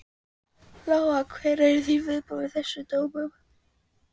Lóa: Hver eru þín viðbrögð við þessum dómum?